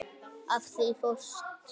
Af því þú fórst.